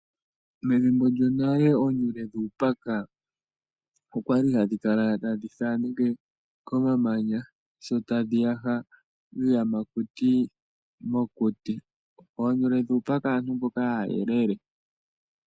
Methimbo lyo nale oonyule dhuupaka okwa li hadhi ka la tadhi thaaneke komamanya sho tadhi yaha iiyamakuti mokuti, oonyule dhuupaka aantu mboka aayelele.